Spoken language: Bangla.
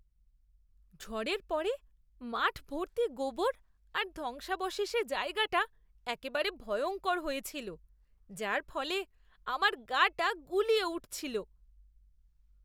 ঝড়ের পরে মাঠভর্তি গোবর আর ধ্বংসাবশেষে জায়গাটা একেবারে ভয়ঙ্কর হয়ে ছিল, যার ফলে আমার গা টা গুলিয়ে উঠছিল!